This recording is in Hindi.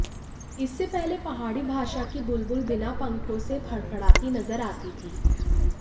इससे पहले पहाड़ी भाषा की बुलबुल बिना पंखों से फड़फड़ाती नजर आती थी